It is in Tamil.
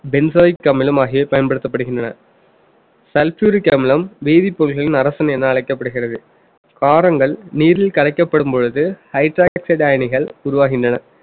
benzoic அமிலம் ஆகியவை பயன்படுத்தப்படுகின்றன sulfuric அமிலம் வேதிப்பொருள்களின் அரசன் என அழைக்கப்படுகிறது காரங்கள் நீரில் கரைக்கப்படும் பொழுது hydroxide அயனிகள் உருவாகின்றன